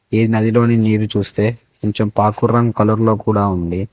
ఈ నదిలోని నీరు చూస్తే కొంచెం పకూరు రంగు కలర్ లో కుడా ఉంది.